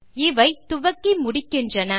இவை துவக்கி முடிக்கின்றன